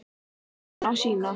Jörðin á sína.